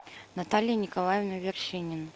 наталья николаевна вершинина